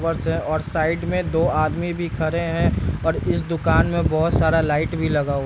और साइड में दो आदमी भी खड़े हैं और इस दूकान में बहुत सारा लाइट भी लगा हुआ --